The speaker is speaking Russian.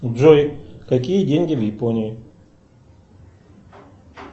джой какие деньги в японии